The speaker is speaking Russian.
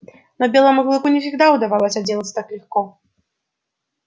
но белому клыку не всегда удавалось отделаться так легко